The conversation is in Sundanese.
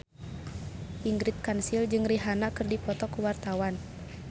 Ingrid Kansil jeung Rihanna keur dipoto ku wartawan